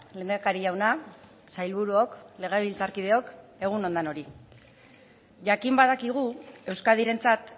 lehendakari jauna sailburuok legebiltzarkideok egun on denoi jakin badakigu euskadirentzat